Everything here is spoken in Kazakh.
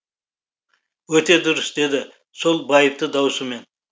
өте дұрыс деді сол байыпты дауысымен